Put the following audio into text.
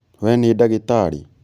We nĩ ndagĩtarĩ